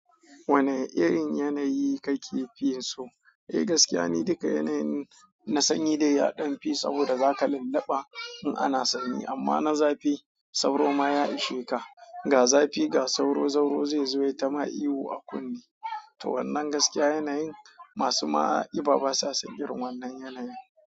Wane irin yanayi kake fiye so? Eh gaskiya ni duka yanayin na sanyi dai yaɗan fi, saboda zaka lulluɓa in ana sanyi, amma na zafi sauro ma ya isheka. Ga zafi ga sauro, sauro zai zo yayi ta ma ihu a kunne. To wannan gaskiya yanayin masu ma ƙiba basa son irin wannan yanayi.